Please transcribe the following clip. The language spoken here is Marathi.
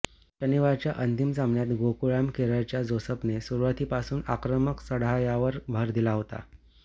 शनिवारच्या अंतिम सामन्यात गोकुळाम केरळच्या जोसेफने सुरूवातीपासूनच आक्रमक चढायावर भर दिला होता